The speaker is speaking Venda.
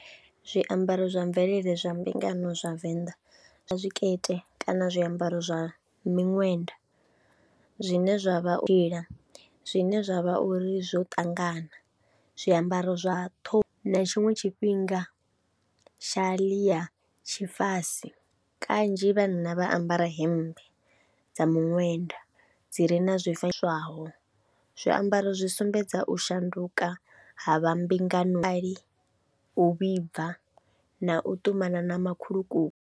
Zwiambaro zwa mvelele zwa mbingano zwa Venḓa, vho zwikete kana zwiambaro zwa miṅwenda zwine zwa vha iḽa, zwine zwa vha uri zwo ṱangana. Zwiambaro zwa ṱho na tshiṅwe tshifhinga tsha ḽia tshifase kanzhi vhanna vha ambara hemmbe dza miṅwenda dzi re na zwi fuswaho. Zwiambaro zwi sumbedza u shanduka ha vha re mbinganoni u vhibva na u ṱumana na makhulukuku.